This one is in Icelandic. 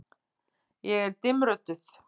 Ég er dimmrödduð.